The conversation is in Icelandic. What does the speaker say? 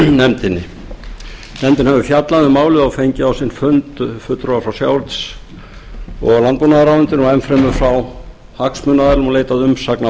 nefndin hefur fjallað um málið og fengið á sinn fund fulltrúa frá sjávarútvegs og landbúnaðarráðuneyti og enn fremur frá hagsmunaaðilum og leitað umsagna